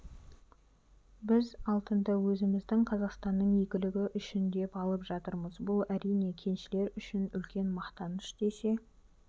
біз алтынды өзіміздің қазақстанның игілігі үшін деп алып жатырмыз бұл әрине кеншілер үшін үлкен мақтаныш десе